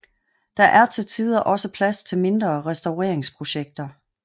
Der er til tider også plads til mindre restaureringsprojekter